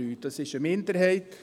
Dies ist eine Minderheit.